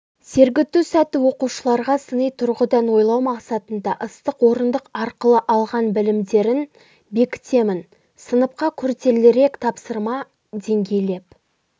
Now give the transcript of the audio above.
сергіту сәті оқушыларға сыни тұрғыдан ойлау мақсатында ыстық орындық арқылы алған білімдерін бекітемін сыныпқа күрделірек тапсырма деңгейлеп